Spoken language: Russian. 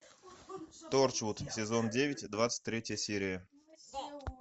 торчвуд сезон девять двадцать третья серия